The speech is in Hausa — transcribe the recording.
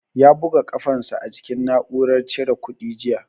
Ya buga kafan sa a jikin na'uran cire kuɗi jiya